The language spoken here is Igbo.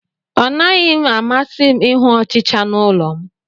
Ọ naghị m amasị ịhụ ọchịcha n'ụlọ m